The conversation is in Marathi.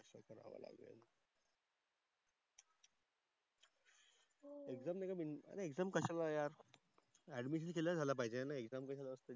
exame नाही का अरे exame कासयाला यार Addmision केल झाल पाहिझे.